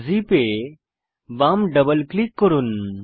zip এ বাম double click করুন